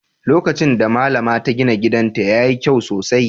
Lokacin da Mallama ta gina gidanta, ya yi kyau sosai